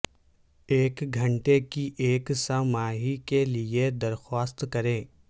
ایک گھنٹے کی ایک سہ ماہی کے لئے درخواست کریں